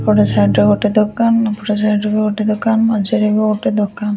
ଏପଟ ସାଇଡରେ ଗୋଟେ ଦୋକାନ ଏପଟ ସାଇଡରେ ଗୋଟେ ଦୋକାନ ମଝିରେ ବି ଗୋଟେ ଦୋକାନ ।